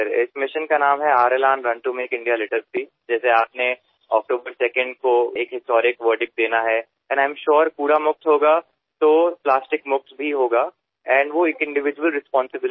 या मोहिमेचे नाव आहे R।Elan run to make India litter free ज्याप्रमाणे आपणाला 2ऑक्टोबर या दिवसाला ऐतिहासिक दिवस म्हणून परिमाण द्यायचे आहे त्याचप्रमाणे मला असे वाटते की जेव्हा देश कचरामुक्त होईल तेव्हाच प्लास्टिक मुक्त सुद्धा होईल आणि ती एक वैयक्तिक जबाबदारी सुद्धा असेल